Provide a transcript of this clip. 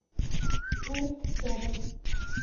мирт рядом